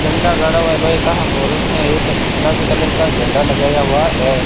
डंडा गढ़ा हुआ है लोहे का और उसमें एक गुलाबी कलर का झंडा लगाया हुआ है।